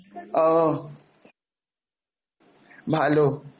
ও, ভালো